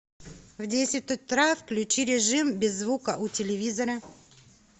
в десять утра включи режим без звука у телевизора